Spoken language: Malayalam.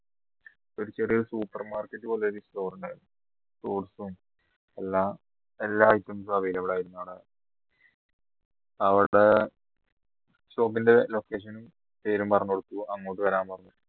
വലിയൊരു supermarket പോലെ ഒരു store ഉണ്ടായിരുന്നു എല്ലാ item സും available ആയിരുന്നു അവിടെ അവിടെ shop ന്റെ location പേരും പറഞ്ഞു കൊടുത്തു അങ്ങോട്ട് വരാൻ പറഞ്ഞു